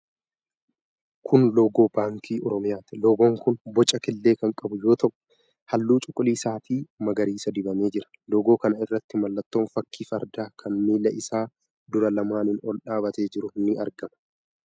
Kun loogoo Baankii Oromiyaati. Loogoon kun boca killee kan qabu yoo ta'u, halluu cuquliisa fi magariisa dibamee jira. Loogoo kana irratti mallattoon fakkii fardaa kan miila isaa duraa lamaaniin ol dhaabatee jiru ni argama.